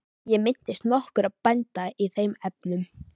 Ég minnist nokkurra bænda í þeim efnum.